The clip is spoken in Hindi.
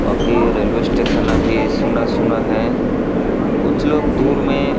आपके रेलवे स्टेशन अभी सुना-सुना है कुछ लोग दूर में--